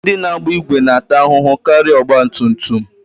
Ndị na-agba ìgwè na-ata ahụhụ karịa ọgbatumtum